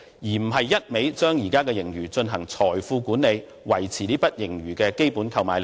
政府不應只顧將現時的盈餘進行財富管理，維持這筆盈餘的基本購買力。